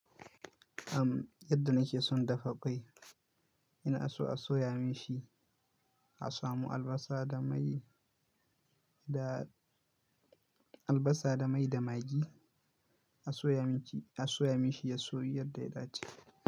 Am yadda nake son dafa ƙwai, ina so a soya minshi, a samu albasa da mai da albasa da mai da maggi, a soya miki, a soya minshi ya soyu yadda ya dace.